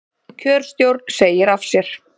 Kjörstjórn segir af sér